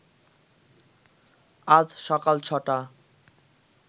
আজ সকাল ছ’টা